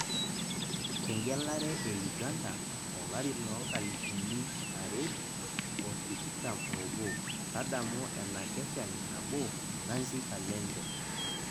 Egelare e Uganda Olari loo nkalifuniu are oo tikitam obo tadamu enakeshani nabo Nancy Kalembe